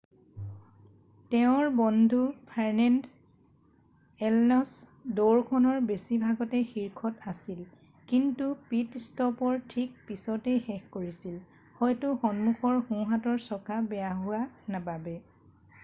তেওঁৰ বন্ধু Fernando Alonso দৌৰখনৰ বেছিভাগতে শীৰ্ষত আছিল কিন্তু পিত-ষ্টপৰ ঠিক পিছতেই শেষ কৰিছিল হয়তো সন্মুখৰ সোঁহাতৰ চকা বেয়া হোৱা বাবে